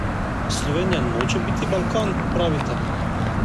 Slovenija noče biti Balkan, pravite?